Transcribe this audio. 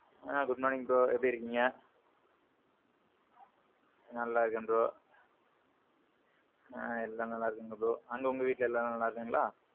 ஆ Good morning bro எப்பிடி இருக்கீங்க? நல்லா இருக்கேன் bro. ஆ. நல்லா இருக்காங்க bro. அங்க உங்க வீட்ல எல்லாரும் நல்லா இருக்காங்களா?